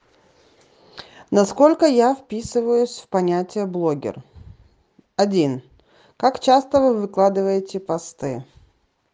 насколько я вписываюсь в понятие блогер один как часто вы выкладываете посты